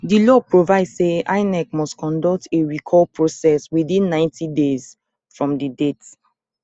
di law provide say inec must conclude a recall process within ninety days from di date